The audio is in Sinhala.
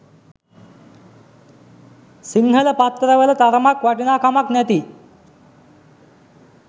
සිංහල පත්තරවල තරමක් වටිනාකමක් නැති